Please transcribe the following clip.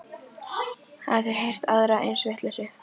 Hafið þið heyrt aðra eins vitleysu?